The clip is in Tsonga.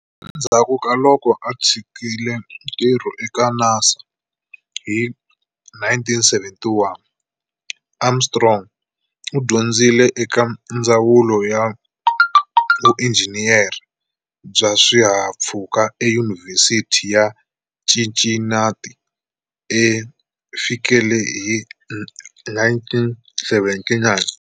Endzhaku ka loko a tshikile ntirho eka NASA hi 1971, Armstrong u dyondzisile eka Ndzawulo ya Vuinjhiniyere bya Swihahampfhuka eYunivhesiti ya Cincinnati ku fikela hi 1979.